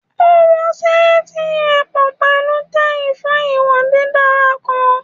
O wo seeti rẹ pọ pẹlu tai fun iwo didara kan